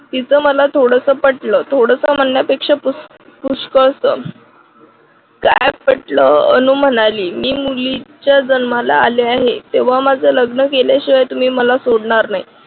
तीच मला थोडंसं पटलं थोडस म्हणण्यापेक्षा पुष्कळस काय म्हटलं अनु म्हणाली मी मुलीच्या जन्माला आले आहे तेव्हा माझं लग्न केल्याशिवाय तुम्ही मला सोडणार नाही.